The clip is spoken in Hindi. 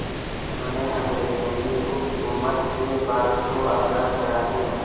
जिन्होंने अंग्रेज़ों की हुकूमत से भारत को आज़ाद कराने